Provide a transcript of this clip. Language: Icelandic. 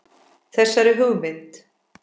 Þessari hugmynd